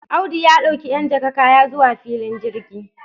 Audu ya d'auki 'yan jaka kaya zuwa filin jirgi.